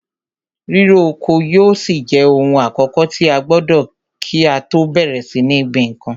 Ríro oko yóò ṣì jẹ ohun àkọ́kọ̀ tí a gbọdọ̀ kí á tọ́ bẹ̀rẹ̀ sí ní gbin nǹkan.